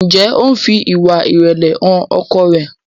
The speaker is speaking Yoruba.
Njé o ń fí ìwà irẹlẹ hàn ọkọ rẹ?